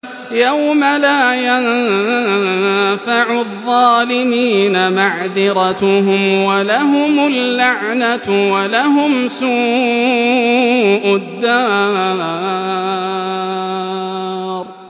يَوْمَ لَا يَنفَعُ الظَّالِمِينَ مَعْذِرَتُهُمْ ۖ وَلَهُمُ اللَّعْنَةُ وَلَهُمْ سُوءُ الدَّارِ